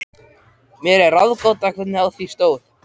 Þeir höfðu verið vinir frá því innan við tvítugt.